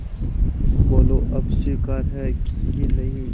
बोलो अब स्वीकार है कि नहीं